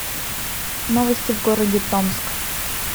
новости в городе томск